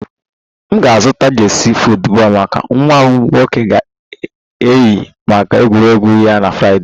M ga-azụta jersey football maka nwa m nwoke ga-eyi maka egwuregwu ya na Fraịdee a